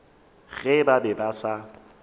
ge ba be ba sa